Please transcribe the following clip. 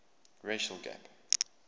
racial gap